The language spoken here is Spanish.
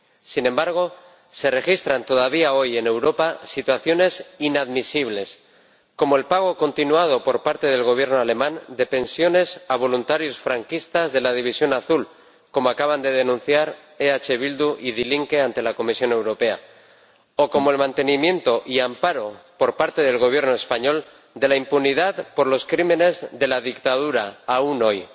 Sin embargo, se registran todavía hoy en Europa situaciones inadmisibles, como el pago continuado, por parte del Gobierno alemán, de pensiones a voluntarios franquistas de la División Azul ―como acaban de denunciar EH Bildu y Die Linke ante la Comisión Europea― o como el mantenimiento y amparo por parte del Gobierno español de la impunidad por los crímenes de la dictadura, aún hoy.